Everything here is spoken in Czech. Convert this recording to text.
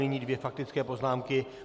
Nyní dvě faktické poznámky.